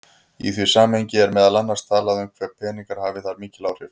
Í því samhengi er meðal annars talað um hve peningar hafi þar mikil áhrif.